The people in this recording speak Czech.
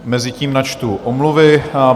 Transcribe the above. Mezitím načtu omluvy.